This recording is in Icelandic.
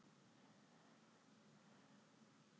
Í Bandaríkjunum var danstónlist þessara ára mjög tengd djassi.